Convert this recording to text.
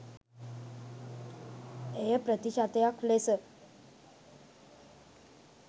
එය ප්‍රතිශතයක් ලෙස